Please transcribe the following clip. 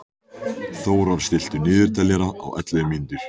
Þórar, stilltu niðurteljara á ellefu mínútur.